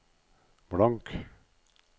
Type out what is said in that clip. blank